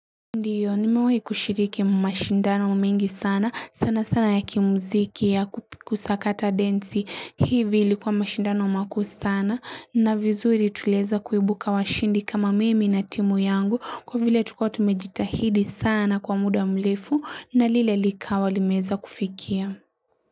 Ndiyo nimawahi kushiriki mashindano mingi sana sana sana ya kimuziki ya kupiku sakata densi hivi ilikuwa mashindano maku sana na vizuri tuleza kuibuka washindi kama mimi na timu yangu kwa vile tukotu mejitahidi sana kwa muda mlefu na lile likawa limeza kufikia.